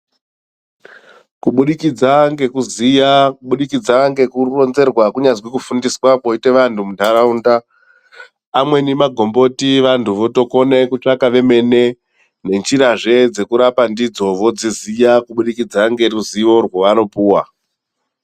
Kubudikidza nekuziya ,kubudikidza ngekuronzerwa kunyazwi kufundiswa kwoitwe vantu mundaraunda. Amweni magomboti vantu vototsvaka vemene nenjirazve dzekurapa ndidzo avodziziya kuburikidza neruzivo rwevanopuva.